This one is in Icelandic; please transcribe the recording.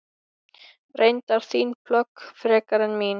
Reyndar þín plögg frekar en mín.